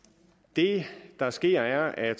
det der sker er